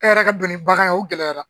E yɛrɛ ka don ni bagan ye o gɛlɛyara.